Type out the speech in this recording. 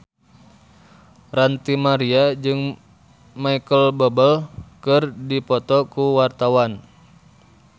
Ranty Maria jeung Micheal Bubble keur dipoto ku wartawan